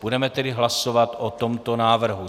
Budeme tedy hlasovat o tomto návrhu.